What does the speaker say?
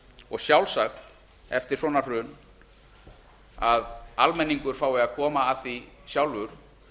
og sjálfsagt eftir svona hrun að almenningur fái að koma að því sjálfur